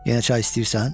Yenə çay istəyirsən?